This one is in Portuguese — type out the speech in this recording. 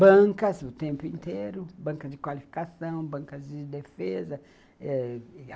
bancas o tempo inteiro, bancas de qualificação, bancas de defesa ãh